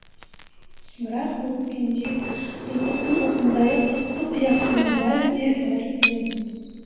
бірақ бұл күнде достықтың осындайлық ыстық ұясының бәрі де дәрменсіз